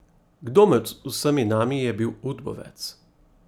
Kdo med vsemi nami je bil udbovec?